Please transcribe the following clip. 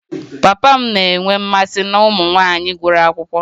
Papa m na-enwe mmasị na ụmụ nwanyị gụrụ akwụkwọ